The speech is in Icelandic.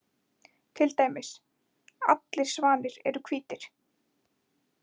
Til dæmis: Allir svanir eru hvítir.